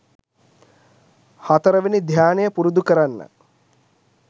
හතරවෙනි ධ්‍යානය පුරුදු කරන්න.